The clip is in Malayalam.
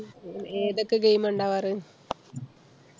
ഹും ഏതൊക്കെ game ആ ഉണ്ടാവാറ്?